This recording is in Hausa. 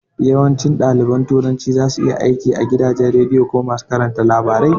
Yawancin ɗaliban turanci zasu iya aiki a gidajen radiyo ko masu karanta labarai